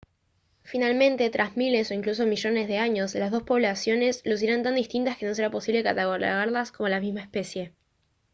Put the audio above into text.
finalmente tras miles o incluso millones de años las dos poblaciones lucirán tan distintas que no será posible catalogarlas como de la misma especie